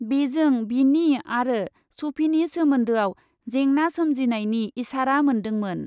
बेजों बिनि आरो सफिनि सोमोन्दोआव जेंना सोमजिनायनि इसारा मोन्दोंमोन।